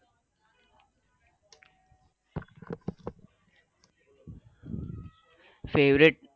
favourite